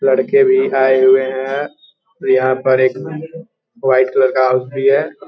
लड़के भी आये हुए हैं और यहाँ पर एक व्हाइट कलर का हाउस भी हैं।